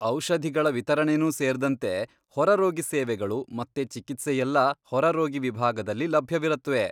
ಔಷಧಿಗಳ ವಿತರಣೆನೂ ಸೇರ್ದಂತೆ ಹೊರರೋಗಿ ಸೇವೆಗಳು ಮತ್ತೆ ಚಿಕಿತ್ಸೆಯೆಲ್ಲ ಹೊರರೋಗಿ ವಿಭಾಗದಲ್ಲಿ ಲಭ್ಯವಿರತ್ವೆ.